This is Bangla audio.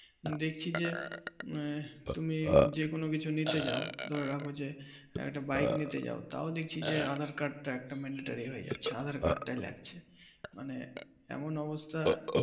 দেখছি যে তুমি কোন কিছু নিতে যাও দেখো যে একটা বাইক নিতে যাও তাও দেখছি যে একটা আধার কার্ডটা লাগবে মানে এমন অবস্থা